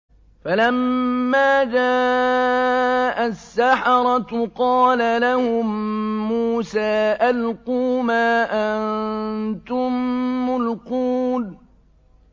فَلَمَّا جَاءَ السَّحَرَةُ قَالَ لَهُم مُّوسَىٰ أَلْقُوا مَا أَنتُم مُّلْقُونَ